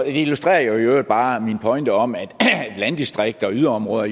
illustrerer i øvrigt bare min pointe om at landdistrikter og yderområder